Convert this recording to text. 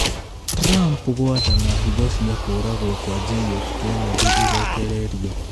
Trump gwathana hitho cia kũragwo kwa J.F. Kennedy irekererio